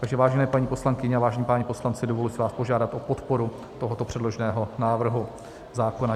Takže vážené paní poslankyně a vážení páni poslanci, dovoluji si vás požádat o podporu tohoto předloženého návrhu zákona.